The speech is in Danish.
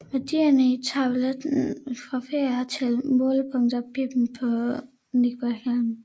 Værdierne i tabellen refererer til målepunktet Bimmen på Niederrhein